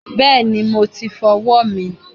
Bẹẹni, mo ti fọwọ́ mi.